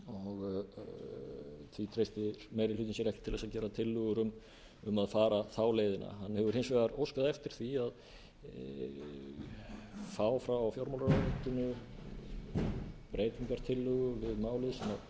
og því treystir meiri hlutinn sér ekki til að gera tillögur um að fara þá leiðina hann hefur hins vegar óskað eftir því að fá frá fjármálaráðuneytinu breytingartillögu við málið sem